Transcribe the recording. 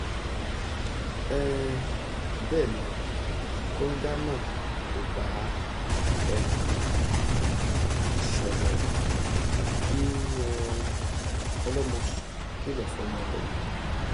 um bẹ́ẹ̀ ni kóńgá náà kò bá ẹnìkan ṣọ̀rẹ́ kí um ọlọ́mọ kìlọ̀ fọ́mọ rẹ̀ ni